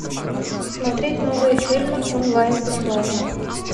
смотреть новые фильмы онлайн бесплатно